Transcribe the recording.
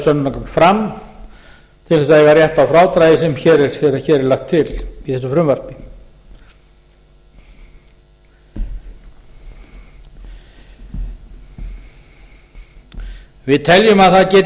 sönnunargögn fram til þess að eiga rétt á frádragi sem hér er lagt til í þessu frumvarpi við teljum að það geti